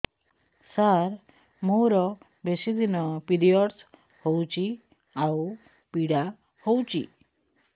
ସାର ମୋର ବେଶୀ ଦିନ ପିରୀଅଡ଼ସ ହଉଚି ଆଉ ପୀଡା ହଉଚି